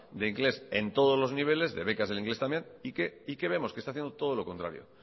de inglés en todos los niveles de becas del inglés también y qué vemos que está haciendo todo lo contrario